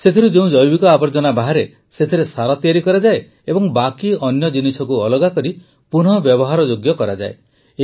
ସେଥିରୁ ଯେଉଁ ଜୈବିକ ଆବର୍ଜନା ବାହାରେ ସେଥିରେ ସାର ତିଆରି କରାଯାଏ ଏବଂ ବାକି ଅନ୍ୟ ଜିନିଷକୁ ଅଲଗା କରି ପୁନଃବ୍ୟବହାରଯୋଗ୍ୟ କରାଯାଏ